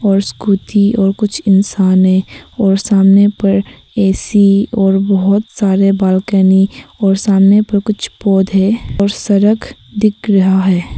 और स्कूटी और कुछ इंसान है और सामने पर ऐसी और बहुत सारे बालकनी और सामने पर कुछ पौधे और सड़क दिख रहा है।